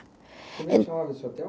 Como é que chamava esse hotel?